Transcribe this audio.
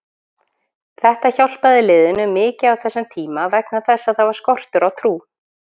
Þetta hjálpaði liðinu mikið á þessum tíma vegna þess að það var skortur á trú.